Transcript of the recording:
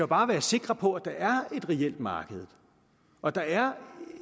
bare være sikre på at der er et reelt marked og at der er